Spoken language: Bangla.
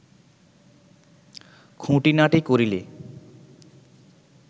খুঁটিনাটি করিলে